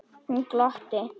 Hún glotti.